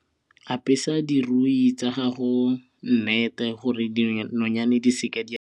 Apesa dirui tsa gago net-e gore dinonyane di seke di a.